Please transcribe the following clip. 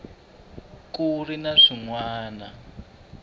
ku ri na swin wana